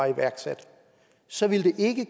iværksat så ville det ikke